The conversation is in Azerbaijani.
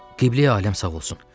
Qibleyi aləm sağ olsun.